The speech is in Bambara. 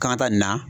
Kan ka taa nin na